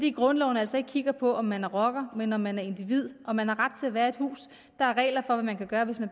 i grundloven altså ikke kigges på om man er rocker men om man er individ og man har ret til at være i et hus der er regler for hvad man kan gøre hvis man